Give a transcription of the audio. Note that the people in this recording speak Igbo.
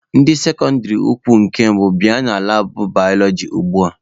Ndị sekọndịrị ukwu nke mbụ bịa na labụ balọọji ugbua!